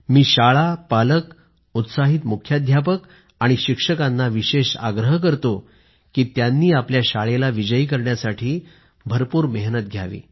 मी शाळापालक उत्साहित मुख्याध्यापक आणि शिक्षकांना विशेष आग्रह करतो की त्यांनी आपल्या शाळेला विजयी करण्यासाठी भरपूर मेहनत घ्यावी